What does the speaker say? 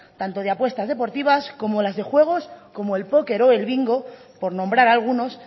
tanto de apuestas deportivas como las de juegos como el póquer o el bingo por nombrar algunos